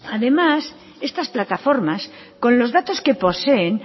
además estas plataformas con los datos que poseen